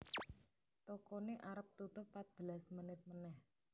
Tokone arep tutup patbelas menit meneh